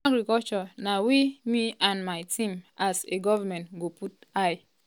"agriculture na wia me and my team as a goment go put eye.